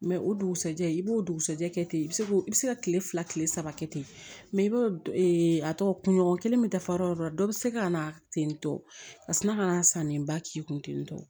o dugusajɛ i b'o dugusajɛ kɛ ten i bɛ se k'o i bɛ se ka kile fila kile saba kɛ ten mɛ i b'o ee a tɔgɔ kun ɲɔgɔn kelen bɛ dafa yɔrɔ o yɔrɔ dɔ bɛ se ka na ten tɔ ka sina ka na sanni ba k'i kun ten tɔ